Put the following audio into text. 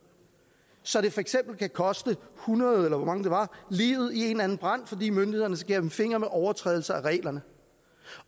så det for eksempel kan koste hundrede eller hvor mange det var livet i en eller anden brand fordi myndighederne ser gennem fingre med overtrædelser af reglerne